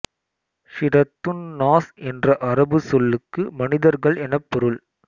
ஸூரத்துந் நாஸ் என்ற அரபுச் சொல்லுக்கு மனிதர்கள் எனப் பொருள்